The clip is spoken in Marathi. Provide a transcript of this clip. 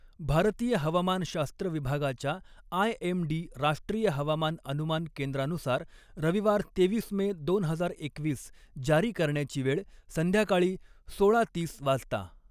भारतीय हवामानशास्त्र विभागाच्या आयएमडी राष्ट्रीय हवामान अनुमान केंद्रानुसार रविवार तेवीस मे दोन हजार एकवीस जारी करण्याची वेळ संध्याकाळी सोळा तीस वाजता.